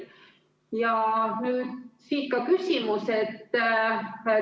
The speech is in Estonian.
Ja siit ka küsimus.